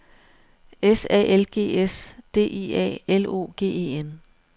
S A L G S D I A L O G E N